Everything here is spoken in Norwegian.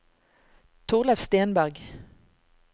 Thorleif Stenberg